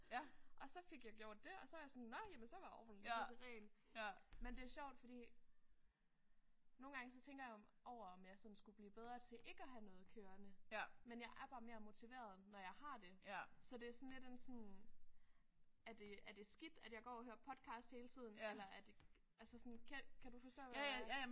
Og så fik jeg gjort det og så var jeg sådan nåh jamen så var ovnen pisseren. Men det er sjovt fordi nogle gange så tænker jeg over om jeg sådan skulle blive bedre til ikke at have noget kørende men jeg er bare mere motiveret når jeg har det så det er sådan lidt en sådan er det er det skidt at jeg går og hører podcast hele tiden eller er det sådan altså kan kan du forstå hvad jeg